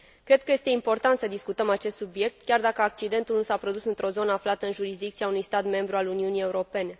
Cred că este important să discutăm acest subiect, chiar dacă accidentul nu s a produs într o zonă aflată în jurisdicția unui stat membru al Uniunii Europene.